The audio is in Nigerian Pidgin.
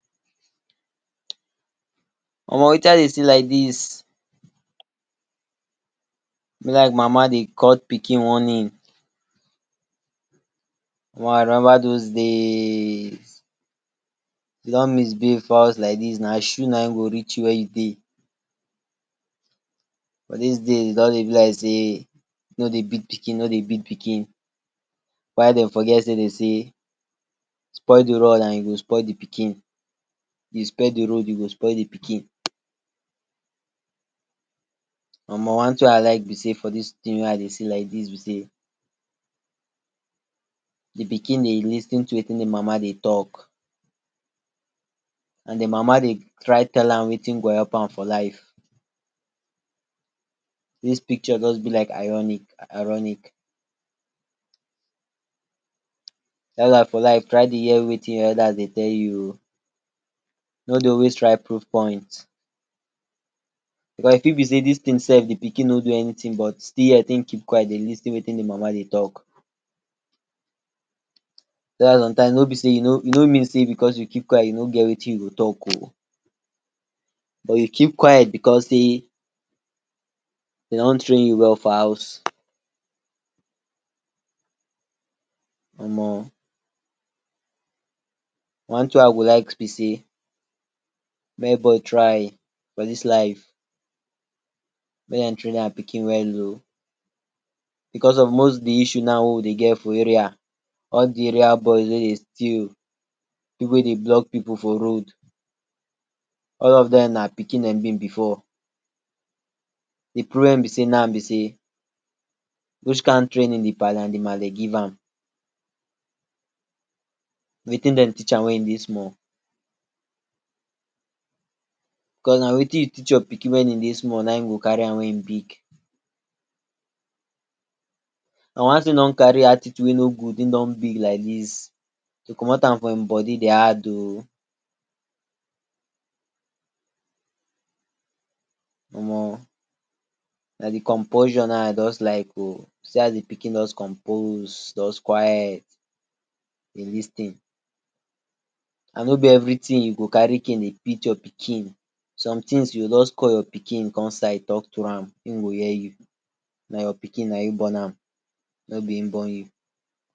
Omo watin I dey see like dis, e be like mama dey cut pikin warning. Omo I remember dose days, if you don misbehave for house like dis na shoe naim go reach you wia you dey but dis days e don dey be like sey no dey beat pikin no dey beat pikin. While dem forget sey dem say spoil di rod and you go spoil di pikin. You spear di rod, you go spoil di pikin, omo one tin wey I like be sey for dis tin wey I dey see like dis be sey di pikin dey lis ten to watin im mama dey talk and di mama dey try tell am watin go help am for life. Dis picture just be like ironic ironic, why for life try dey hear watin your elders dey tell you, no dey always try proof point cause e fit be sey dis tin self di pikin no do anytin but still yet him keep quiet dey lis ten watin di mama dey talk. why some times no be sey no mean sey because you keep quiet you no get watin you go talk o but you keep quiet because sey dem don train you well for house. Omo tin wey I go like be sey mey everybody try for dis life make dem train dia pikin well o because of most di issue wey we dey get for area, all di area bous wey dey steal, pipu wey dey block pipu for road, all of dem na pikin dem be before, di problem be sey now be sey which kian training di palee and di malee give am. Watin dem teach am wen e dey smale because na watin you teach your pikin wen e dey small na him go carry am wen e big and once him don carry attitude wey no good, him don big like dis to commot an from him body de hard o. oomo na d composure na I just like o, see as di pikin just compose, just quiet, dey lis ten and no be every tin you go carry cane dey beat your pikin, some tins you go just call your pikin come side talk to am him go hear you, na your pikin na you born am no be him born you.